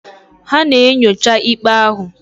Ha na-enyocha ikpe ahụ.